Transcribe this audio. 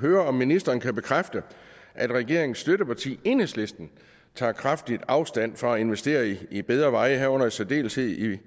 høre om ministeren kan bekræfte at regeringens støtteparti enhedslisten tager kraftigt afstand fra at investere i bedre veje herunder i særdeleshed i